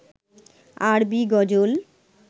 আরবি গজল